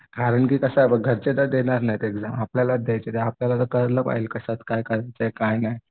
कारण की कसं आहे बघ घरचे तर देणार नाहीत एक्झाम. आपल्यालाच द्यायची आहे आपल्याला तर करायला पाहिजे. कशात काय काय नाही.